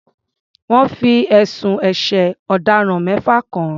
Wọ́n fi ẹ̀sùn ẹ̀ṣẹ̀ ọ̀daràn mẹ́fà kàn án.